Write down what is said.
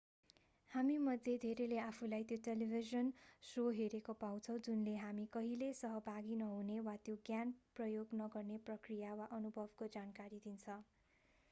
हामीमध्ये धेरैले आफूलाई त्यो टेलिभिजन शो हेरेको पाउँछौँ जुनले हामी कहिल्यै सहभागी नहुने वा त्यो ज्ञान प्रयोग नगर्ने प्रक्रिया वा अनुभवको जानकारी दिन्छ